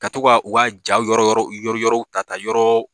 Ka to ka u ka ja yɔrɔ yɔrɔ yɔrɔ yɔrɔ ta ka yɔrɔ